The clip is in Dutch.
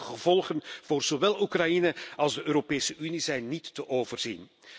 En de mogelijke gevolgen voor zowel Oekraïne als de Europese Unie zijn niet te overzien.